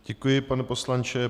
Děkuji, pane poslanče.